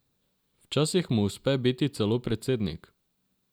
Včasih mu uspe biti celo predsednik.